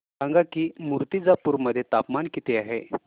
सांगा की मुर्तिजापूर मध्ये तापमान किती आहे